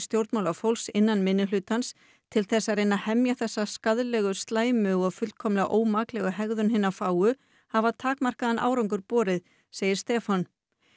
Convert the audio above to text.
stjórnmálafólks innan minnihlutans til að reyna að hemja þessa skaðlegu slæmu og fullkomlega ómaklegu hegðun hinna fáu hafa takmarkaðan árangur borið segir Stefán